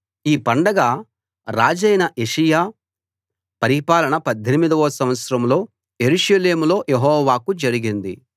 ఈ పండగ రాజైన యోషీయా పరిపాలన 18 వ సంవత్సరంలో యెరూషలేములో యెహోవాకు జరిగింది